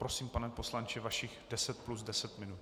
Prosím, pane poslanče, vašich deset plus deset minut.